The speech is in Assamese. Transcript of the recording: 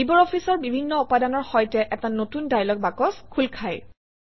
LibreOffice অৰ বিভিন্ন উপাদানৰ সৈতে এটা নতুন ডায়লগ বাকচ খোল খায়